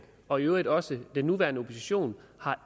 og i øvrigt også den nuværende opposition